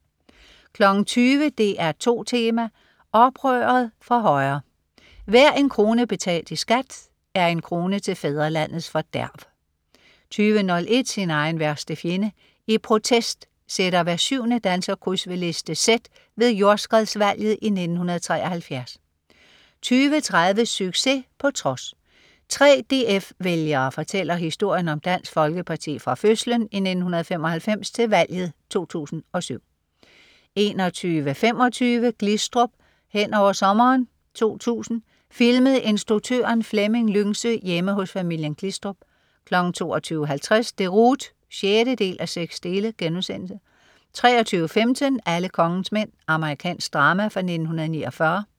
20.00 DR2 Tema: Oprøret fra højre. Hver en krone betalt i skat, er en krone til fædrelandets fordærv! 20.01 Sin egen værste fjende. I protest sætter hver 7. dansker kryds ved liste Z ved jordskreds-valget i 1973 20.30 Succes, på trods. Tre DF-vælgere fortæller historien om Dansk Folkeparti fra fødslen i 1995 til valget 2007 21.25 Glistrup. Henover sommeren 2000 filmede instruktøren Flemming Lyngse hjemme hos familien Glistrup 22.50 Deroute 6:6* 23.15 Alle kongens mænd. Amerikansk drama fra 1949